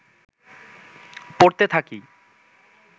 পড়তে থাকি